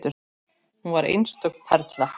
Hún var einstök perla.